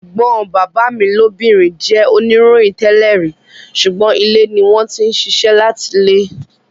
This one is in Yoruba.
Ẹ̀gbọ́n bàbá mi lóbìnrin jẹ́ oníròyìn tẹ́lẹ̀ rí, sùgbọ́n ilé ni wọ́n ti ń ṣiṣẹ́ láti ilé.